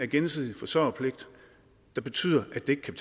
gensidige forsørgerpligt der betyder at det ikke kan